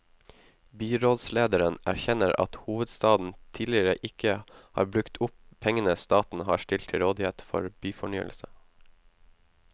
Byrådslederen erkjenner at hovedstaden tidligere ikke har brukt opp pengene staten har stilt til rådighet for byfornyelse.